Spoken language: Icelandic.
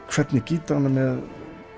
hvernig gítar hann er með